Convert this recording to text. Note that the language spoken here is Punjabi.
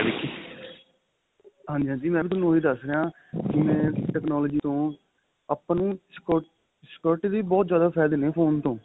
ਹਾਂਜੀ ਹਾਂਜੀ ਮੈਂ ਵੀ ਤੁਹਾਨੂੰ ਦਸ ਰਿਹਾ ਜਿਵੇਂ technology ਤੋਂ ਆਪਾਂ ਨੂੰ security ਦੇ ਬਹੁਤ ਜਿਆਦਾ ਫਾਇਦੇ ਨੇ phone ਤੋਂ